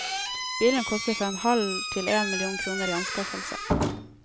Bilene koster fra en halv til én million kroner i anskaffelse.